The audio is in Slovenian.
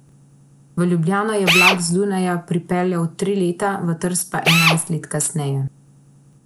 V Ljubljano je vlak z Dunaja pripeljal tri leta, v Trst pa enajst let kasneje.